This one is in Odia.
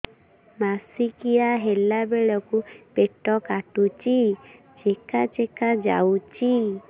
ମାସିକିଆ ହେଲା ବେଳକୁ ପେଟ କାଟୁଚି ଚେକା ଚେକା ଯାଉଚି